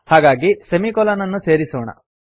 ಹಾಗಾಗಿ ಸೆಮಿಕೊಲನ್ ಅನ್ನು ಸೇರಿಸೋಣ